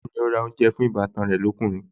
Bẹ́ẹ̀ni, ó ra oúnjẹ fún ìbátan ẹ lókùnrin